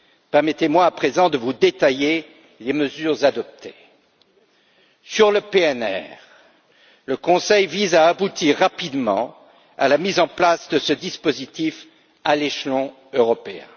Permettez moi, à présent, de vous détailler les mesures adoptées. Concernant le PNR, le Conseil vise à aboutir rapidement à la mise en place de ce dispositif à l'échelon européen.